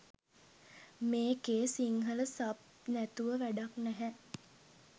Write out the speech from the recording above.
මේකේ සිංහල සබ් නැතුව වැඩක් නැහැ